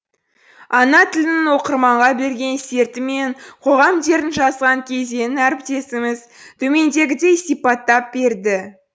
ана тілінің оқырманға берген серті мен қоғам дертін жазған кезеңін әріптесіміз төмендегідей сипаттап берді